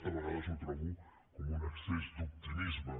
a vegades ho trobo com un excés d’optimisme